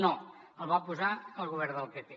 no el va posar el govern del pp